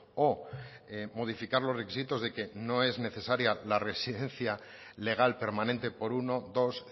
o modificar los requisitos de que no es necesaria la residencia legal permanente por uno dos